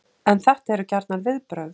En þetta eru gjarnan viðbrögð